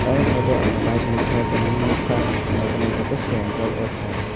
ayang side o ang bike nukha building nukha naithok naithok khe swnamjak oh thai.